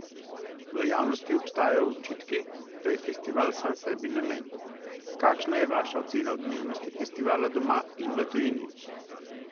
V javnosti obstajajo očitki, da je festival sam sebi namen, kakšna je vaša ocena odmevnosti festivala doma in v tujini?